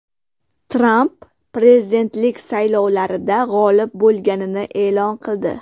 Tramp prezidentlik saylovlarida g‘olib bo‘lganini e’lon qildi.